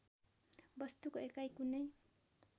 वस्तुको एकाइ कुनै